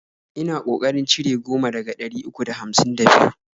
Ina ko karin cire goma daga ɗari uku da hamsin da biyu